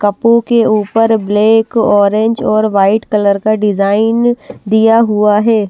कपो के ऊपर black orange और वाइट कलर का डिजाइन दिया हुआ है।